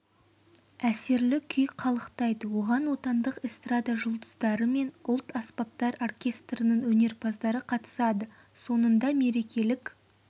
әсерлі күй қалықтайды оған отандық эстрада жұлдыздары мен ұлт аспаптар оркестрінің өнерпаздары қатысады соңында мерекелік